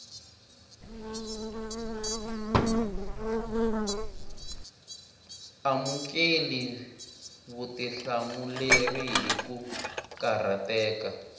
amukeli vutihlamuleri hi ku karhateka